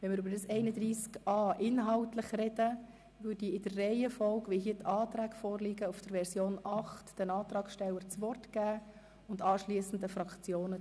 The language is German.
Wenn wir inhaltlich über Artikel 31a sprechen, erteile ich den Antragstellenden entsprechend der Reihenfolge der Anträge gemäss Version 8 das Wort sowie anschliessend den Fraktionen.